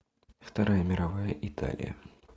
вторая мировая италия